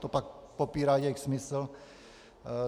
To pak popírá jejich smysl.